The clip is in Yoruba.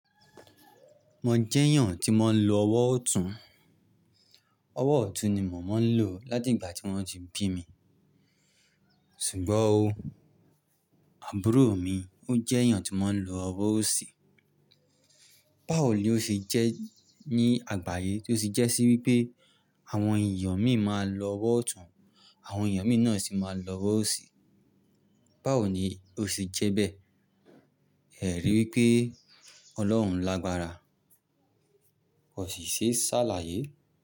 Mo jẹ́ èèyàn tí mo ń lo ọwọ́ ọ̀tún. Ọwọ́ ọ̀tún ni mo mo ń lò láti ìgbà tí wón ti bí mi. Ṣùgbọ́n ó, àbúrò mi ó jẹ́ èèyàn tí mọ́n ń lo ọwọ́ òsì. Báwo ni ó ṣe jẹ́ ní àgbáyé tí ó sì jẹ́ sí wípé àwọn èèyàn mi máa ń lo ọwọ́ ọ̀tún, àwọn èèyàn mi náà sì máa ń lo ọwọ́ òsì. Báwo ni ó ṣe jẹ́ bẹ́ẹ̀? Ẹ rí i wípé Ọlọ́run lágbára. Kò sì ṣe sálàyé.